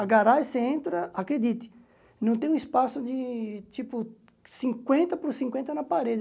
A garagem, você entra, acredite, não tem um espaço de tipo cinquentaanta por cinquenta na parede.